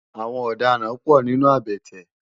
Awòn òdàrãn pò ninú àbètè